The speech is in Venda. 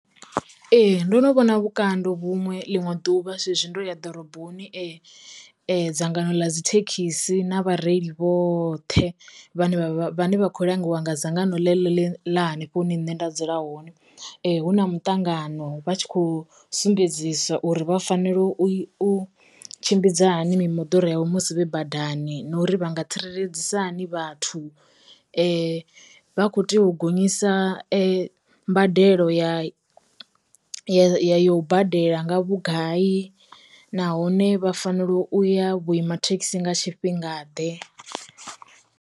Ee, ndo no vhona vhukando vhuṅwe ḽiṅwe ḓuvha zwezwi ndo ya ḓoroboni, dzangano ḽa dzi thekhisi na vhareili vhoṱhe vhane vha vhane vha kho langiwa nga dzangano ḽi ḽa hanefho hune nṋe nda dzula hone, hu na muṱangano vha tshi kho sumbedziswa uri vha fanela u tshimbidza hani mimoḓoro yavho musi vhe badani, na uri vha nga tsireledzisa hani vhathu, vha kho tea u gonyisa mbadelo ya ya u badela nga vhugai, nahone vha fanela u ya vhuima thekhisi nga tshifhinga ḓe.